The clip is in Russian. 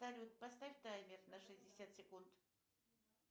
салют поставь таймер на шестьдесят секунд